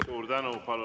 Suur tänu!